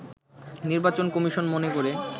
নির্বাচন কমিশন মনে করে